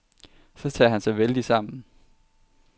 Så tager han sig vældigt sammen.